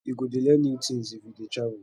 you go dey learn new tins if you dey travel